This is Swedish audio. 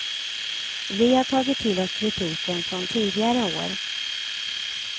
Vi har tagit till oss kritiken från tidigare år.